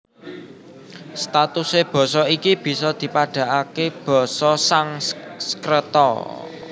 Statusé basa iki bisa dipadhakaké basa Sangskreta